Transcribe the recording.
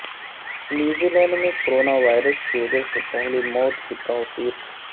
New Zealand میں corona virus کی وجہ سے پہلی موت کی توثیق